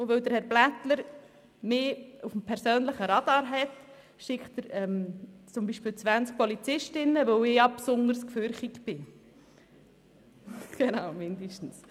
Weil der Polizeikommandant, Stefan Blättler, mich auf dem persönlichen Radar hat, schickt er zum Beispiel 20 Polizistinnen, weil ich ja besonders furchterregend bin.